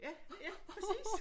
Ja ja præcis